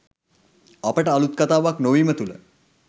අපට අලුත් කතාවක් නොවීම තුළ